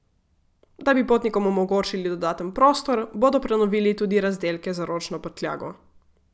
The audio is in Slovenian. Da bi potnikom omogočili dodaten prostor, bodo prenovili tudi razdelke za ročno prtljago.